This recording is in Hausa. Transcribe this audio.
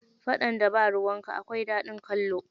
Faɗan da ba ruwanka akwai daɗin kallo.